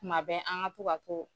Kuma bɛ an ka to ka to.